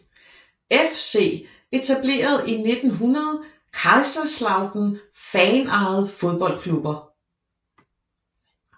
FC Etableret i 1900 Kaiserslautern Fanejede fodboldklubber